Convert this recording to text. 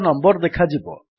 ଏକ ନମ୍ୱର୍ ଦେଖାଯିବ